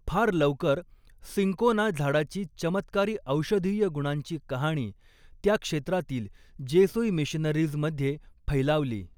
फार लवकर, सिंकोना झाडाची चमत्कारी औषधीय गुणांची कहाणी त्या क्षेत्रातील जेसूई मिशनरीज मधे फैलावली.